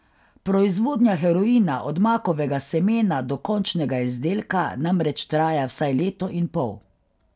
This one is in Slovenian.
Proizvodnja heroina od makovega semena do končnega izdelka namreč traja vsaj leto in pol.